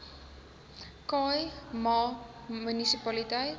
khai ma munisipaliteit